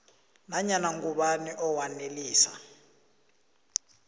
nanyana ngubani owanelisa